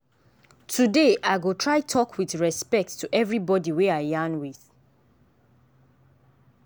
today i go try talk with respect to everybody wey i yarn with.